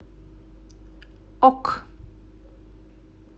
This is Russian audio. ок